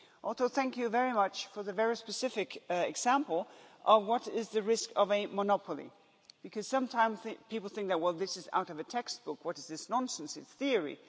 Also, thank you very much for the very specific example of what the risk of a monopoly is, because sometimes people think well, this is out of a textbook, what is this nonsense, it's theory'.